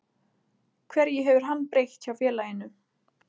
Hverju hefur hann breytt hjá félaginu?